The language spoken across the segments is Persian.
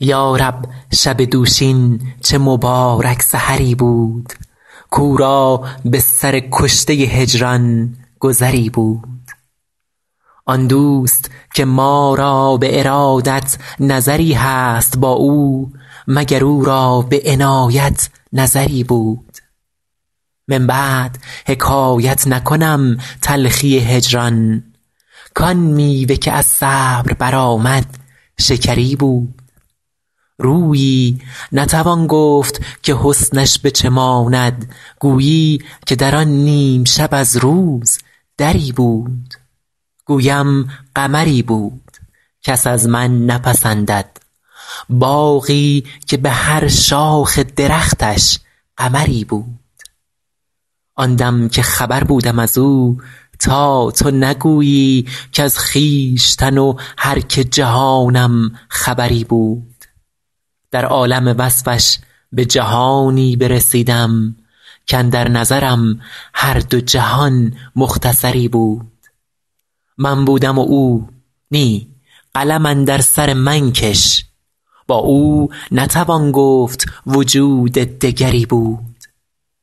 یا رب شب دوشین چه مبارک سحری بود کاو را به سر کشته هجران گذری بود آن دوست که ما را به ارادت نظری هست با او مگر او را به عنایت نظری بود من بعد حکایت نکنم تلخی هجران کآن میوه که از صبر برآمد شکری بود رویی نتوان گفت که حسنش به چه ماند گویی که در آن نیم شب از روز دری بود گویم قمری بود کس از من نپسندد باغی که به هر شاخ درختش قمری بود آن دم که خبر بودم از او تا تو نگویی کز خویشتن و هر که جهانم خبری بود در عالم وصفش به جهانی برسیدم کاندر نظرم هر دو جهان مختصری بود من بودم و او نی قلم اندر سر من کش با او نتوان گفت وجود دگری بود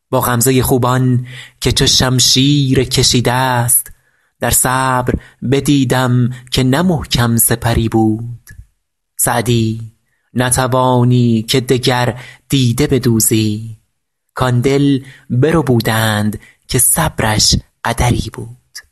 با غمزه خوبان که چو شمشیر کشیده ست در صبر بدیدم که نه محکم سپری بود سعدی نتوانی که دگر دیده بدوزی کآن دل بربودند که صبرش قدری بود